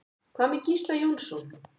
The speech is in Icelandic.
Hvað með Gísla Jónsson?